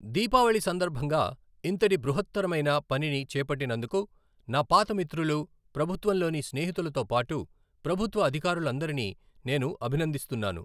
దీపావళి సందర్భంగా ఇంతటి బృహత్తరమైన పనిని చేపట్టినందుకు నా పాత మితృలు, ప్రభుత్వంలోని స్నేహితులతో పాటు ప్రభుత్వ అధికారులందరినీ నేను అభినందిస్తున్నాను.